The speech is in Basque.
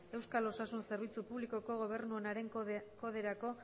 euskal osasun zerbitzu publikoko gobernu onaren koderako